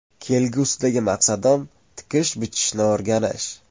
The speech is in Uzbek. Kelgusidagi maqsadim – tikish-bichishni o‘rganish.